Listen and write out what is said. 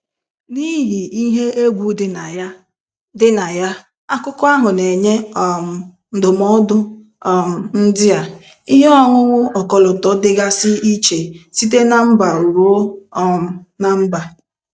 N'ihi ihe egwu dị na ya, dị na ya, akụkọ ahụ na-enye um ndụmọdụ um ndị a: Ihe ọṅụṅụ ọkọlọtọ dịgasị iche site na mba ruo um ná mba.